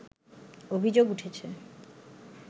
অভিযোগ উঠেছে